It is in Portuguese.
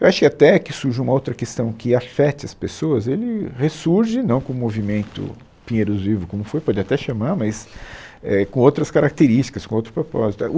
Eu acho que até que surja uma outra questão que afete as pessoas, ele ressurge, não como o movimento Pinheiros Vivo como foi, pode até chamar, mas é com outras características, com outro propósito.